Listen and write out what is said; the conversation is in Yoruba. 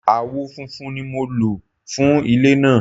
Awọ funfun ni mo nlo fun ile naa